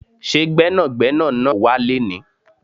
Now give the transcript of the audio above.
Ṣé Gbẹ́nàgbẹ́nà náà wá léni?